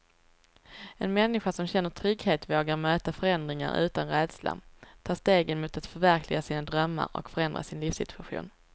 En människa som känner trygghet vågar möta förändringar utan rädsla, ta stegen mot att förverkliga sina drömmar och förändra sin livssituation.